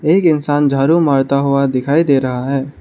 एक इंसान झाड़ू मारता हुआ दिखाई दे रहा है।